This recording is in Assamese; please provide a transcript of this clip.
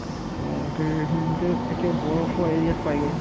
অ, তেনেহ'লে সি তেও একে বৰফৰ area ত পাইগৈ